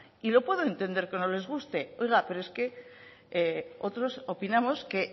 y lo puedo entender que no les guste oiga pero es que otros opinamos que